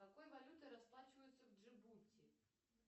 какой валютой расплачиваются в джибути